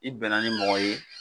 I bɛnna ni mɔgɔ ye